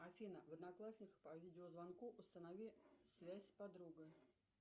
афина в одноклассниках по видеозвонку установи связь с подругой